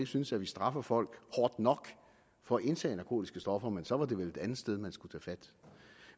synes at vi straffer folk hårdt nok for at indtage narkotiske stoffer men så var det vel et andet sted man skulle tage fat